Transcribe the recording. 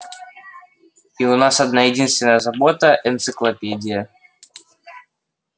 и у нас одна единственная забота энциклопедия